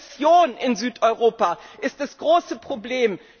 Die Rezession in Südeuropa ist das große Problem.